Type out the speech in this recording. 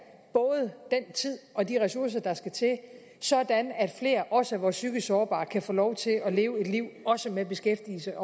både den tid og de ressourcer der skal til sådan at flere også vores psykisk sårbare kan få lov til at leve et liv også med beskæftigelse